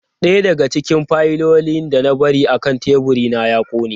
Daya daga cikin fayilolin da na bari akan teburina ya kone.